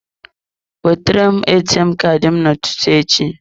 Wetere m ATM Kaadị m n'ụtụtụ echi.